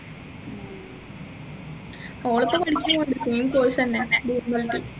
all ഇപ്പൊ പഠിക്കയാണ് സ് same course തന്നെ DMLT